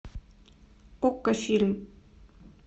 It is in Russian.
окко фильм